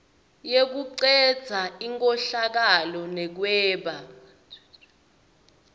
yekucedza inkhohlakalo nekweba